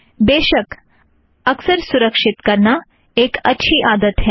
बेशक अक्सर सुरक्षीत करना एक अच्छी आदत है